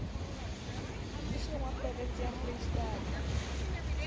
mmusong wa provense ya freistata